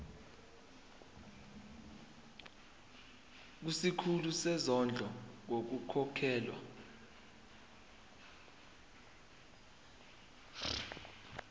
kusikhulu sezondlo ngokukhokhela